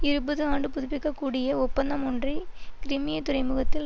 இருபது ஆண்டு புதுப்பிக்க கூடிய ஒப்பந்தம் ஒன்றை கிரிமிய துறைமுகத்தில்